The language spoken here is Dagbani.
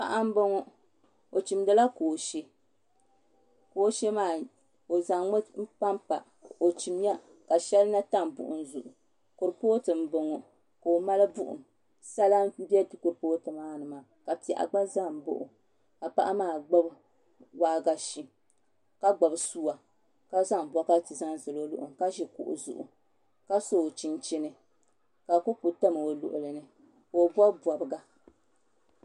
Paɣa n boŋo o chimdila kooshɛ kooshɛ maa o zaŋmi panpa o chimya ka shɛli ka na tam buɣum zuɣu kurifooti n boŋo ka o mali buɣum sala n bɛ kurifoiti maa ni maa ka piɛɣu gba ʒɛ n baɣa o ka paɣa maa gbubi waagashe ka gbubi suwa ka zaŋ bokati zaŋ zali o luɣuli ni ka ʒi kuɣu zuɣu ka so chinchin ka kopu tam o luɣuli ni ka o bob bibga